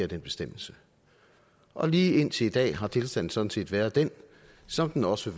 den bestemmelse og lige indtil i dag har tilstanden sådan set været den som den også